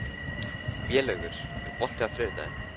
Vélaugur, er bolti á þriðjudaginn?